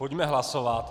Pojďme hlasovat.